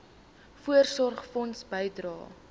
voorsorgfonds bydrae